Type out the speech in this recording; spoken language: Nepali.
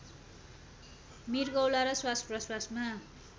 मृगौला र श्वासप्रस्वासमा